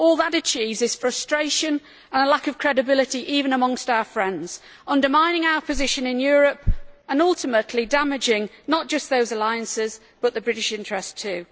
All that achieves is frustration and a lack of credibility, even amongst our friends, undermining our position in Europe and ultimately damaging, not just those alliances, but the British interest too.